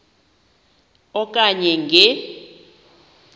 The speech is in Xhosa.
e okanye nge